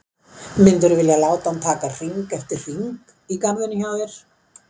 Myndirðu vilja láta hann taka hring eftir hring í garðinum hjá þér?